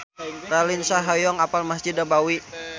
Raline Shah hoyong apal Mesjid Nabawi